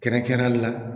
Kɛrɛnkɛrɛnnenya la